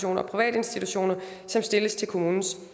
og private institutioner som stilles til kommunens